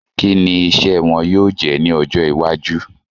Kí ni iṣẹ́ wọn yóò jẹ́ ní ọjọ́ iwájú?